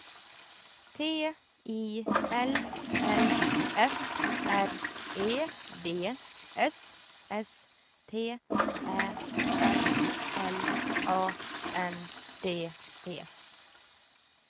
T I L L F R E D S S T Ä L L A N D E